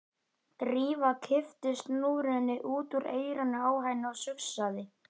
Drífa kippti snúrunni út úr eyranu á henni og sussaði.